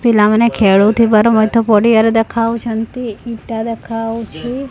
ପିଲାମାନେ ଖେଳୁଥିବାର ମଧ୍ୟ ପଡିଆ ରେ ଦେଖାଯାଉଛନ୍ତି ଇଟା ଦେଖାଉଛି।